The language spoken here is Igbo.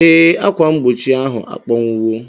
Ee, ákwà mgbochi ahụ akpọnwụwo.